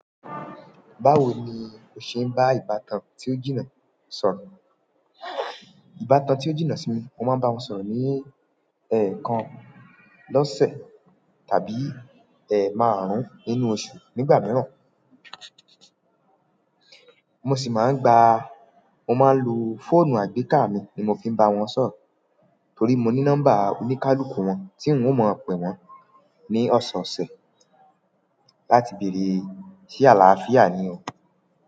Báwo ni o ṣe ń bá ìbátan tí o jìnnà sọ̀rọ̀? Ìbátan tí ó jìnnà sí mi, mo máa ń bá wọn sọ̀rọ̀ ní ẹ̀ẹ̀kan lọ́sẹ̀ tàbí ẹ̀ márùn nínú oṣù nígbà mìíràn. Mo sì máa ń gba, mo máa ń lo fóònù àgbéká mi ni mo fi ń bá wọn sọ̀rọ̀ torí mo ní nọ́mbà oníkálukú wọn tí n ò mọ̀ pẹ wọn ní ọ̀sọ̀sẹ̀ láti bèrè se àlàáfíà ní o.